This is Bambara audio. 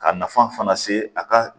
Ka nafan fana se a ka